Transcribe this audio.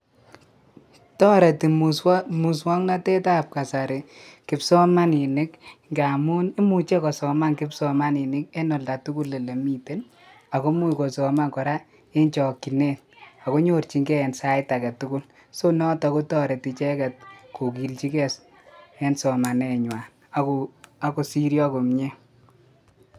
Toreti muswoknoten ab kasarib kipsomaninik ngamun imuche kosoman en oldaa tukul olemiten ako imuch kosoman koraa en jokinet ako nyorjingee en sait agetukul so noton kotoreti icheget kokiljigee en somanee nywan ak kosiryo komie.